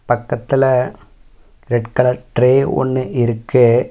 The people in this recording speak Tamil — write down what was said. பக்கத்துல ரெட் கலர் ட்ரே ஒன்னு இருக்கு.